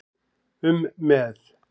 um með.